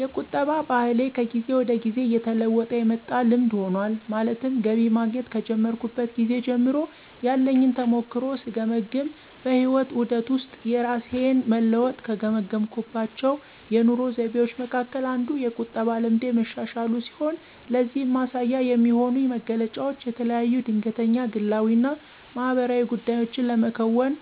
የቁጠባ ባህሌ ከጊዜ ወደ ጊዜ እየተለወጠ የመጣ ልምድ ሆኗል። ማለትም ገቢ ማግኘት ከጀመርኩበት ጊዜ ጀምሮ ያለኝን ተሞክሮ ስገመግም በህይወት ዑደት ውስጥ የራሴን መለወጥ ከገመገምኩባቸው የኑሮ ዘይቤዎቸ መካከል አንዱ የቁጠባ ልምዴ መሻሻሉ ሲሆን ለዚህም ማሳያ የሚሆኑኝ መገለጫዎች የተለያዩ ድንገተኛ ግላዊ እና ማህበራዊ ጉዳዮችን ለመከወን